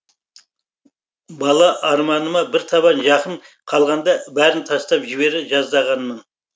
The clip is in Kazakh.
бала арманыма бір табан жақын қалғанда бәрін тастап жібере жаздағанмын